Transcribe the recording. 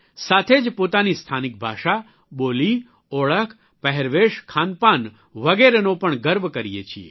સાથે જ પોતાની સ્થાનિક ભાષા બોલી ઓળખ પહેરવેશ ખાનપાન વગેરેનો પણ ગર્વ કરીએ છીએ